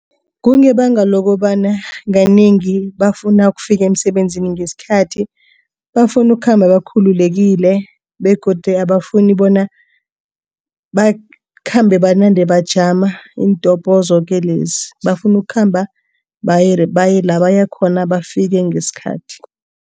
Kungebanga lokobana kanengi bafuna ukufika emisebenzini ngesikhathi. Bafuna ukukhamba bakhululekile begodu abafuni bona bakhambe banande bajama iintobho zoke lezi bafuna ukukhamba baye baye lapho bafuna ukuyakhona bafike ngesikhathi.